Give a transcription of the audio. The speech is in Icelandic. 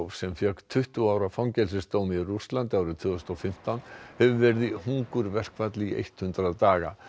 sem fékk tuttugu ára fangelsisdóm í Rússlandi árið tvö þúsund og fimmtán hefur verið í hungurverkfalli í hundrað daga